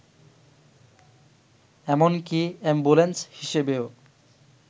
এমনকি অ্যাম্বুলেন্স হিসেবেও